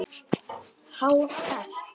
Hann hóstaði mikið.